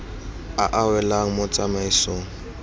a a welang mo tsamaisong